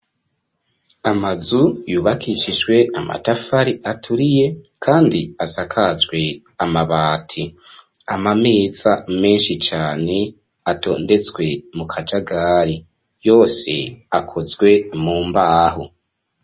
Amazu yubakishijwe amatafari aturiye kandi asakajwe amabati amameza menshi cane atondetswe mu kajagari yose akozwe mu mbaho.